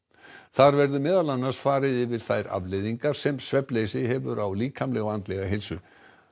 þar verður meðal annars farið yfir þær afleiðingar sem svefnleysi hefur á líkamlega og andlega heilsu